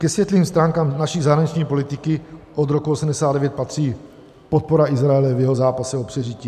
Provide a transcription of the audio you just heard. Ke světlým stránkám naší zahraniční politiky od roku 1989 patří podpora Izraele v jeho zápase o přežití.